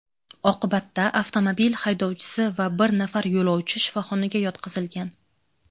Oqibatda avtomobil haydovchisi va bir nafar yo‘lovchi shifoxonaga yotqizilgan.